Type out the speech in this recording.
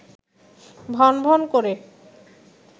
ভনভন করে